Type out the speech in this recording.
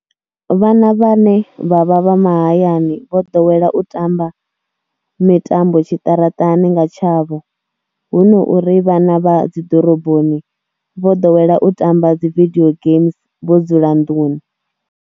Vhana vhane vha vha vha mahayani vho ḓowela u tamba mitambo tshiṱaratani nga tshavho, hu no uri vhana vha dzi ḓoroboni vho ḓowela u tamba dzi vidio geames vho dzula nḓuni.